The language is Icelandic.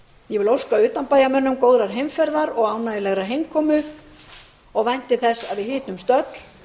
ég óska utanbæjarmönnum góðrar heimferðar og ánægjulegrar heimkomu og vænti þess að við hittumst öll